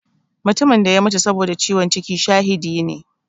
Mutumin da ya mutu saboda ciwon ciki shahidi ne.